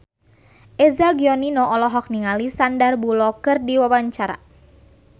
Eza Gionino olohok ningali Sandar Bullock keur diwawancara